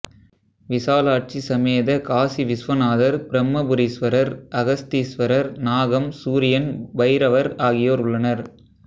விசாலாட்சி சமேத காசி விஸ்வநாதர் பிரம்மபுரீஸ்வரர் அகஸ்தீஸ்வரர் நாகம் சூரியன் பைரவர் ஆகியோர் உள்ளனர்